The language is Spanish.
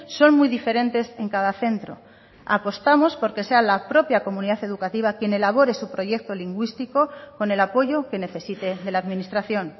son muy diferentes en cada centro apostamos por que sea la propia comunidad educativa quien elabore su proyecto lingüístico con el apoyo que necesite de la administración